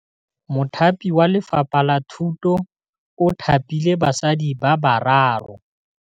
Mothapi wa Lefapha la Thutô o thapile basadi ba ba raro.